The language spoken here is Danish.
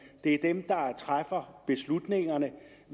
det er dem der træffer beslutningerne